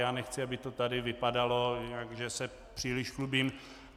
Já nechci, aby to tady vypadalo, že se příliš chlubím.